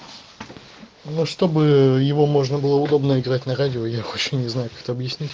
ну чтобы его можно было удобно играть на радио я вообще не знаю как это объяснить